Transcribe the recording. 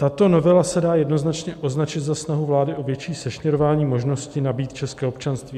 Tato novela se dá jednoznačně označit za snahu vlády o větší sešněrování možnosti nabýt české občanství.